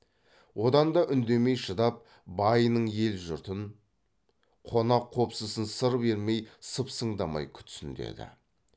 одан да үндемей шыдап байының елі жұртын қонақ қопсысын сыр бермей сыпсыңдамай күтсін деді